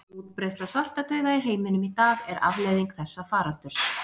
Útbreiðsla svartadauða í heiminum í dag er afleiðing þessa faraldurs.